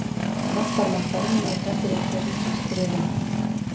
бас бармақтары мен ортан теректерін түйістіреді